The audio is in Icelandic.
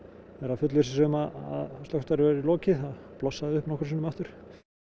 fullvissa sig um að slökkvistarfi væri lokið það blossaði upp nokkrum sinnum aftur